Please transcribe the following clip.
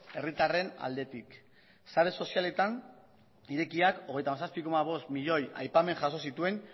herritarren aldetik sare sozialetan irekiak hogeita zazpi koma bost milioi aipamen jaso zituen